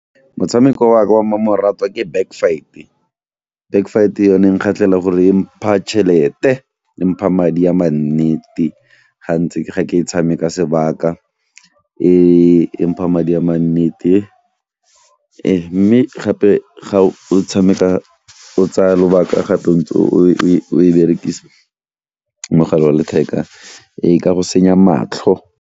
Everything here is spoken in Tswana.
Motshameko wa ka wa mmamoratwa ke Back Fight. Back Fight yone e nkgatlhela gore e mpha tšhelete, e mpha madi a mannete ga ntse ke ga ke e tshameka sebaka, e mpha madi a mannete mme gape ga o tshameka o tsaya lobaka o e berekisa mogala wa letheka e ka go senya matlho.